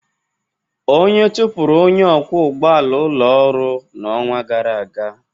Onye chụpụrụ onye ọkwọ ụgbọala ụlọ ọrụ n'ọnwa gara aga.